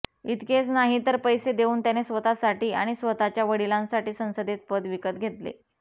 इतकेच नाही तर पैसे देऊन त्याने स्वतःसाठी आणि स्वतःच्या वडिलांसाठी संसदेत पद विकत घेतले